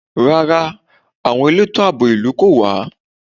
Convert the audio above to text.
Rárá, àwọn elétò àbò ìlú kò wá.